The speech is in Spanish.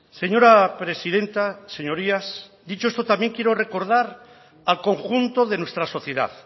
señora presidenta señorías dicho esto también quiero recordar al conjunto de nuestra sociedad